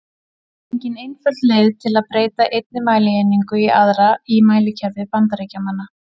Engin einföld leið er að breyta einni mælieiningu í aðra í mælikerfi Bandaríkjamanna.